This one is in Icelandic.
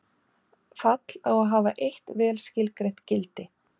Fall á að hafa eitt vel skilgreint gildi.